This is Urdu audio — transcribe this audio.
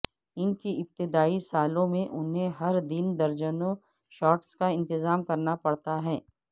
اس کے ابتدائی سالوں میں انہیں ہر دن درجنوں شاٹس کا انتظام کرنا پڑا تھا